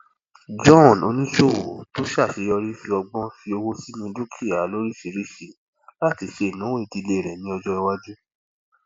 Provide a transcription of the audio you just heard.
john oníṣòwò tó ṣàṣeyọrí fi ọgbọn fi owó sínú dukia lóríṣìíríṣìí láti ṣe ìnáwó ìdílé rẹ ní ọjọ iwájú